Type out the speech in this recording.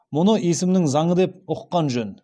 мұны есімнің заңы деп ұққан жөн